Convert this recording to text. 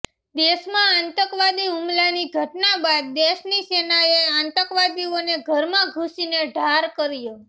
દેશમાં આતંકવાદી હુમલાની ઘટના બાદ દેશની સેનાએ આતંકવાદીઓને ઘરમા ઘુસીને ઠાર કર્યા